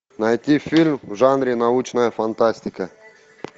найти фильм в жанре научная фантастика